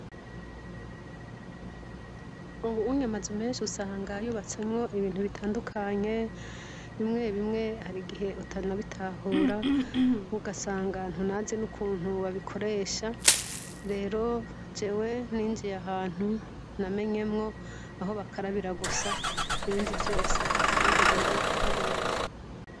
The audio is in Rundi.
Uwu unyeamaza menshi usanga yyubatsamwo ibintu bitandukanye bimwe bimwe hari igihe utana bitahura u gasangantu nazi n'ukuntu babikoresha rero jewe ninjiye ahantu namenyemwo aho bakarabira gusa ibindi vyose sinigeze ndabimenya.